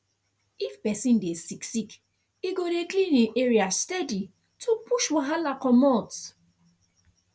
if person dey sick sick e go dey clean him area steady to push wahala comot